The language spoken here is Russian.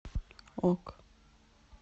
ок